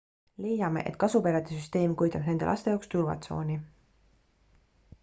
leiame et kasuperede süsteem kujutab nende laste jaoks turvatsooni